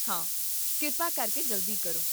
ਹਾਂ, ਕਿਰਪਾ ਕਰਕੇ ਜਲਦੀ ਕਰੋ